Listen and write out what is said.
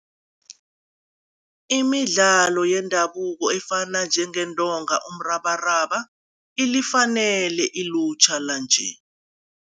Imidlalo yendabuko efana njengeentonga, umrabaraba ilifanele ilutjha lanje.